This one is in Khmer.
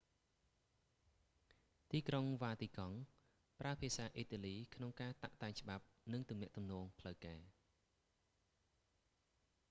ទីក្រុងវ៉ាទីកង់ vatican city ប្រើភាសាអ៊ីតាលី​ក្នុងការតាក់​តែង​ច្បាប់ និងទំនាក់ទំនងផ្លូវការ។